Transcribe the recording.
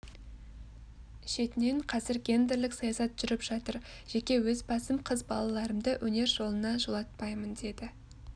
шетінен қазір гендерлік саясат жүріп жатыр жеке өз басым қыз балаларымды өнер жолына жолатпаймын деді